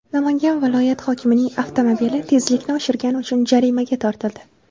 Namanganda viloyat hokimining avtomobili tezlikni oshirgani uchun jarimaga tortildi.